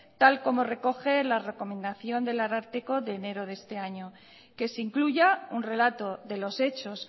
tal como recoge la recomendación del ararteko de enero de este año que se incluya un relato de los hechos